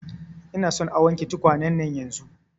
Ina son a wanke tukwane nan yanzun